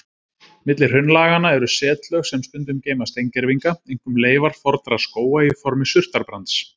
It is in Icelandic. Milli hraunlaganna eru setlög sem stundum geyma steingervinga, einkum leifar fornra skóga í formi surtarbrands.